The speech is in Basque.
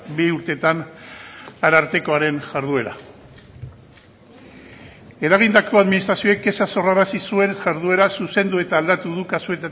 bi urteetan arartekoaren jarduera eragindako administrazioak kexa sorrarazi zuen jarduera zuzendu eta aldatu du